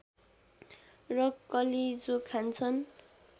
र कलेजो खान्छन्